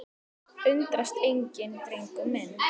Undrast enginn, drengur minn.